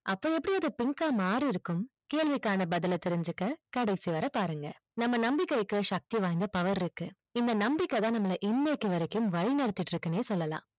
அப்போ எப்படி அது pink ஆ மாறி இருக்கும் கேள்விக்கான பதில் ஆ தெரிஞ்சிக்க கடைசி வரை பாருங்க நம்ம நம்பிக்கைக்கு சக்தி வாய்ந்த power இருக்கு இந்த நம்பிக்கை தான் நம்மல இன்னைக்கு வரைக்கும் வழி நடத்திட்டு இருக்குனே சொல்லலாம்